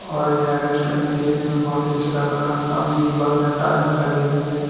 और यह रेस्टोरेंट देखने में बहुत ही अच्छा लग रहा है सामने दीवार में टाइल्स लगे हुए हैं।